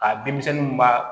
A denmisɛnnin b'a